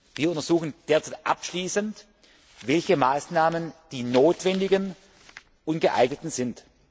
Wir untersuchen derzeit abschließend, welche Maßnahmen die notwendigen und geeigneten sind.